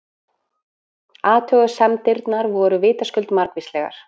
Athugasemdirnar voru vitaskuld margvíslegar.